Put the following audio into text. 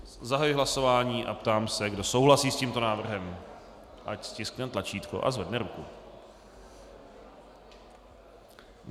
Zahajuji hlasování a ptám se, kdo souhlasí s tímto návrhem, ať stiskne tlačítko a zvedne ruku.